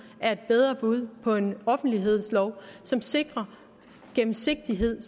er et bedre bud på en offentlighedslov som sikrer gennemsigtighed